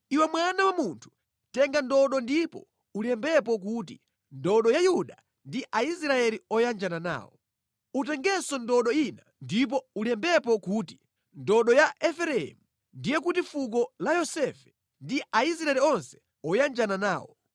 “Iwe mwana wa munthu, tenga ndodo ndipo ulembepo kuti, ‘Ndodo ya Yuda ndi Aisraeli oyanjana nawo.’ Utengenso ndodo ina ndipo ulembepo kuti, ‘Ndodo ya Efereimu, ndiye kuti fuko la Yosefe ndi Aisraeli onse oyanjana nawo.’